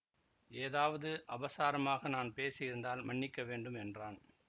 ஏதாவது அபசாரமாக நான் பேசியிருந்தால் மன்னிக்க வேண்டும் என்றான்